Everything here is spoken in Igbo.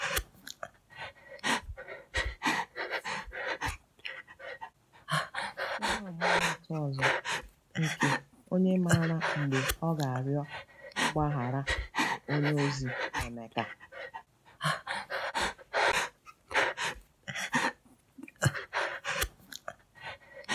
Ihe ọmụmaatụ ọzọ nke um onye um maara mgbe ọ ga-arịọ mgbaghara bụ onyeozi Emeka.